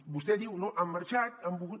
vostè diu no han marxat han volgut